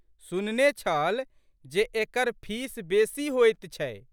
सुनने छल जे एकर फीस बेशी होइत छै।